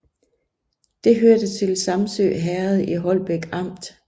Det hørte til Samsø Herred i Holbæk Amt